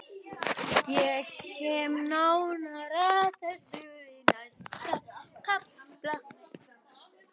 Ég kem nánar að þessu í næsta kafla.